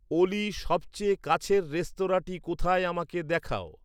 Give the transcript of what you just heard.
অলি সবচেয়ে কাছের রেস্তরাঁঁটি কোথায় আমাকে দেখাও